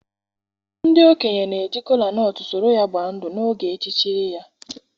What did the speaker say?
ndị okenye na-eji kola nut soro ya gbaa ndụ n’oge echichiri ya.